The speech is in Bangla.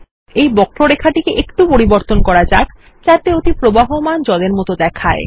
এই বক্ররেখাটিকে একটু পরিবর্তন করা যাক যাতে ওটি প্রবহমান জল এর মত দেখায়